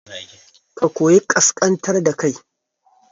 Ka koyi ƙasƙantar da kai